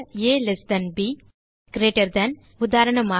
ஆ ல்ட் ப் greater than உதாரணமாக